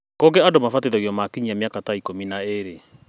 Kũngĩ andũ mabatithagio makinyia mĩaka ta ikũmi na ĩĩrĩ